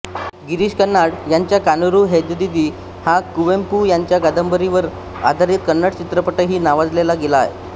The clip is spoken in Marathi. गिरीश कर्नाड यांचा कानुरू हेग्गदिती हा कुवेंपू यांच्या कादंबरीवर आधारित कन्नड चित्रपटही नावाजला गेला आहे